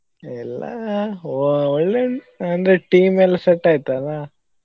ಇಲ್ಲಾ ಆ ಒಳ್ಳೆ ಉಂಟ್ ಅಂದ್ರೆ team ಎಲ್ಲಾ set ಆಯ್ತಲ್ಲಾ.